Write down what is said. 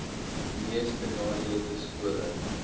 mees benadeelde skole